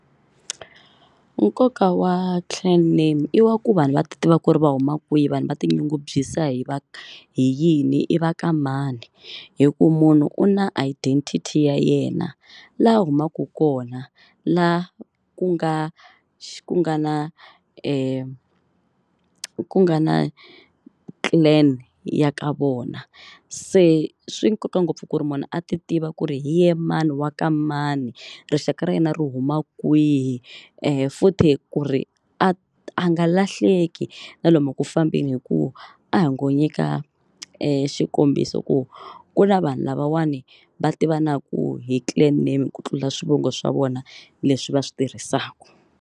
Nkoka wa clan name i wa ku vanhu va tiva ku ri va huma kwihi vanhu va tinyungubyisa hi va hi yini i va ka mani. Hi ku munhu u na identify ya yena laha a humaku kona la ku nga xi ku nga na ku nga na clan ya ka vona. Se swi nkoka ngopfu ku ri munhu a ti tiva ku ri hi yena mani wa ka mani rixaka ra yena ri huma kwihi futhi ku ri a a nga lahleki na lomu ku fambeni hi ku a hi ngo nyika e xikombiso ku ku na vanhu lavawani va tivanaka hi clan name ku tlula swivongo swa vona leswi va swi tirhisaka.